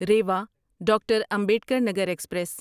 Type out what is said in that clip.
Rewa doctor Ambedkar Nagar express